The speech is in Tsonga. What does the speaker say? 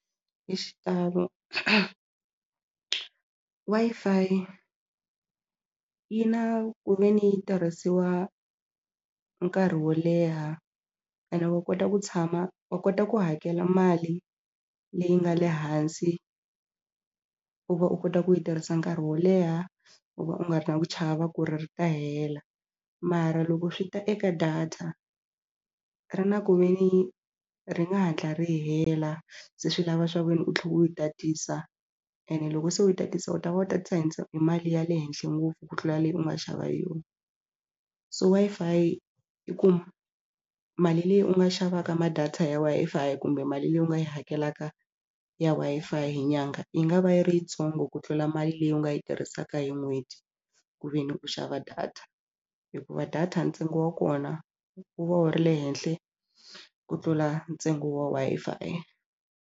Hi xitalo Wi-Fi yi na ku ve ni yi tirhisiwa nkarhi wo leha ene wa kota ku tshama wa kota ku hakela mali leyi nga le hansi u va u kota ku yi tirhisa nkarhi wo leha u va u nga ri na ku chava ku ri ri ta hela mara loko swi ta eka data ri na ku ve ni ri nga hatla ri hela se swi lava swa ku ve ni u tlhe u yi tatisa ene loko se u yi tatisa u ta va u tatisa hi hi mali ya le henhle ngopfu ku tlula leyi u nga xava hi yona so Wi-Fi i ku mali leyi u nga xavaka ma data ya Wi-Fi kumbe mali leyi u nga yi hakelaka ya Wi-Fi hi nyanga yi nga va yi ri yintsongo ku tlula mali leyi u nga yi tirhisaka hi n'hweti ku ve ni u xava data hikuva data ntsengo wa kona wu va wu ri le henhla ku tlula ntsengo wa Wi-Fi.